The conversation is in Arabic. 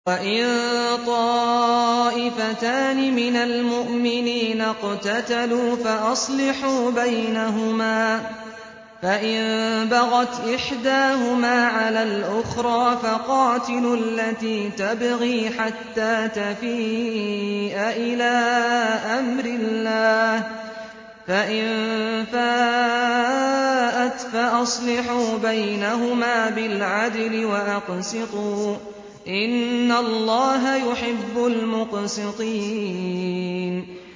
وَإِن طَائِفَتَانِ مِنَ الْمُؤْمِنِينَ اقْتَتَلُوا فَأَصْلِحُوا بَيْنَهُمَا ۖ فَإِن بَغَتْ إِحْدَاهُمَا عَلَى الْأُخْرَىٰ فَقَاتِلُوا الَّتِي تَبْغِي حَتَّىٰ تَفِيءَ إِلَىٰ أَمْرِ اللَّهِ ۚ فَإِن فَاءَتْ فَأَصْلِحُوا بَيْنَهُمَا بِالْعَدْلِ وَأَقْسِطُوا ۖ إِنَّ اللَّهَ يُحِبُّ الْمُقْسِطِينَ